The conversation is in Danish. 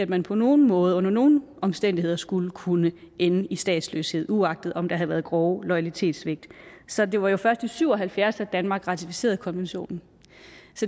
man på nogen måde under nogen omstændigheder skulle kunne ende i statsløshed uagtet om der havde været grove loyalitetssvigt så det var jo først i nitten syv og halvfjerds at danmark ratificerede konventionen